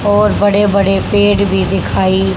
बहुत बड़े बड़े पेड़ भी दिखाई--